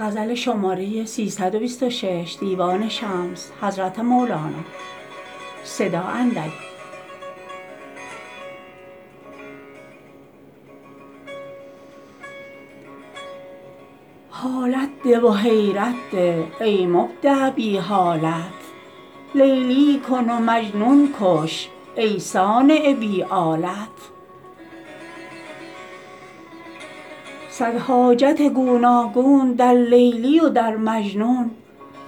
حالت ده و حیرت ده ای مبدع بی حالت لیلی کن و مجنون کن ای صانع بی آلت صد حاجت گوناگون در لیلی و در مجنون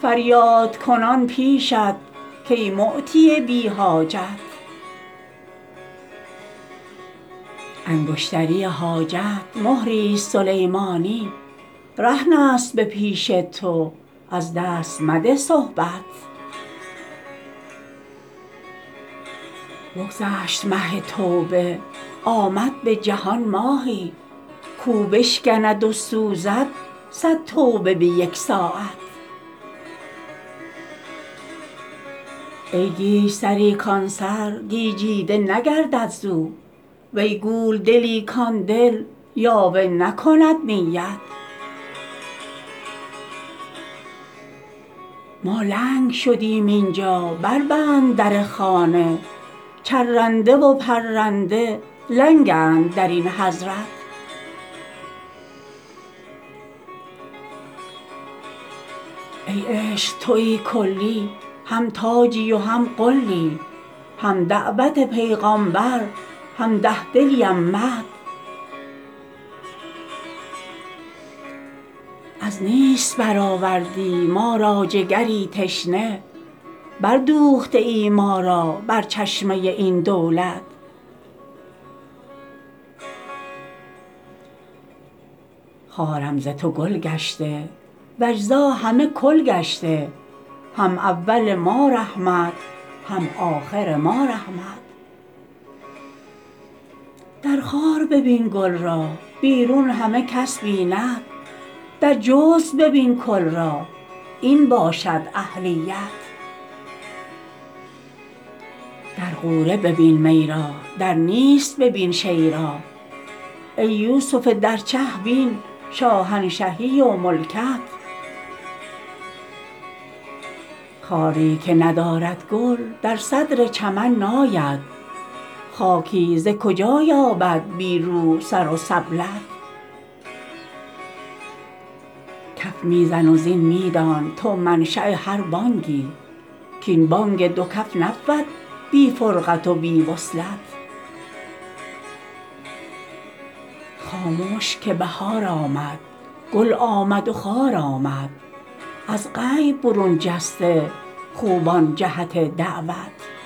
فریادکنان پیشت کای معطی بی حاجت انگشتری حاجت مهریست سلیمانی رهنست به پیش تو از دست مده صحبت بگذشت مه توبه آمد به جهان ماهی کاو بشکند و سوزد صد توبه به یک ساعت ای گیج سری کان سر گیجیده نگردد ز او وی گول دلی کان دل یاوه نکند نیت ما لنگ شدیم این جا بربند در خانه چرنده و پرنده لنگند در این حضرت ای عشق توی کلی هم تاجی و هم غلی هم دعوت پیغامبر هم ده دلی امت از نیست برآوردی ما را جگری تشنه بردوخته ای ما را بر چشمه این دولت خارم ز تو گل گشته و اجزا همه کل گشته هم اول ما رحمت هم آخر ما رحمت در خار ببین گل را بیرون همه کس بیند در جزو ببین کل را این باشد اهلیت در غوره ببین می را در نیست ببین شیء را ای یوسف در چه بین شاهنشهی و ملکت خاری که ندارد گل در صدر چمن ناید خاکی ز کجا یابد بی روح سر و سبلت کف می زن و زین می دان تو منشاء هر بانگی کاین بانگ دو کف نبود بی فرقت و بی وصلت خامش که بهار آمد گل آمد و خار آمد از غیب برون جسته خوبان جهت دعوت